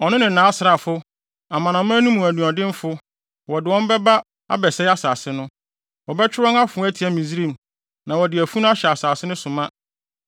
Ɔno ne nʼasraafo; amanaman no mu anuɔdenfo, wɔde wɔn bɛba abɛsɛe asase no. Wɔbɛtwe wɔn afoa atia Misraim na wɔde afunu ahyɛ asase no so ma.